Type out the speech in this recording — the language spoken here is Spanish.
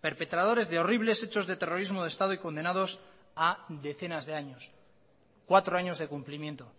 perpetradores de horribles hechos de terrorismo de estado y condenados a decenas de años cuatro años de cumplimiento